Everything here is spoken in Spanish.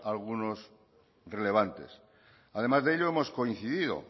algunos relevantes además de ello hemos coincidido